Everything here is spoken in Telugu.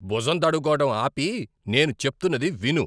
బుజం తడుముకోవడం ఆపి నేను చెప్తున్నది విను!